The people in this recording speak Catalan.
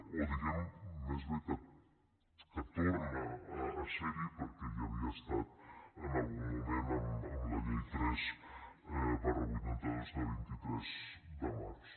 o diguem més bé que torna a ser hi perquè hi havia estat en algun moment amb la llei tres vuitanta dos de vint tres de març